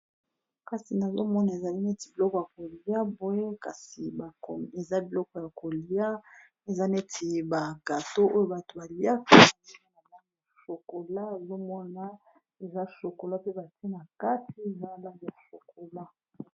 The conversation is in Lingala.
kasi nazomona ezali neti biloko ya kolia bwye kasi eza biloko ya kolia eza neti bakato oyo bato baliakaniana na mosokola azomona eza shokola pe bate na kati nala mosokola